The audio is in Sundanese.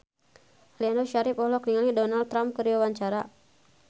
Aliando Syarif olohok ningali Donald Trump keur diwawancara